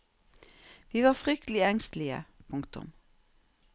Vi var fryktelig engstelige. punktum